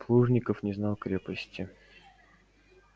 плужников не знал крепости